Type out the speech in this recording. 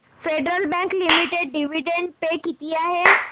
federal Bank Limited dividend pay किती आहे